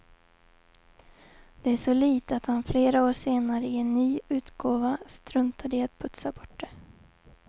Det är så lite att han flera år senare i en ny utgåva struntade i att putsa bort det.